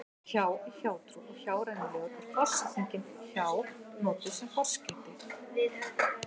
hjá í hjátrú og hjárænulegur er forsetningin hjá notuð sem forskeyti